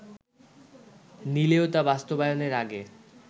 নিলেও তা বাস্তবায়নের আগে